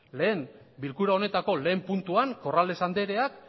bilkura honetako lehenengo puntuan corrales andreak